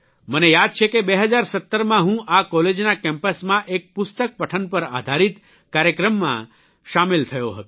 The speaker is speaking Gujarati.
મને યાદ છે કે 2017માં હું આ કોલેજના કેમ્પસમાં એક પુસ્તકપઠન પર આધારીત કાર્યક્રમમાં સામેલ થયો હતો